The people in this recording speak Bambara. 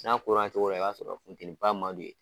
N'a kola o cogo la, i b'a sɔrɔ futɛniba man d'u ye.